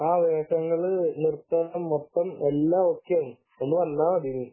ആഹ് വേഷങ്ങളും എല്ലാം ഓക്കേ ആയി വന്നാൽ മതി ഇനി